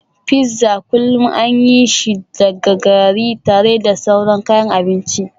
Fizza kullu an yi shi daga gari tare da sauran kayan abinci